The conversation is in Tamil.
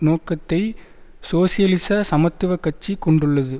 நோக்கத்தை சோசியலிச சமத்துவ கட்சி கொண்டுள்ளது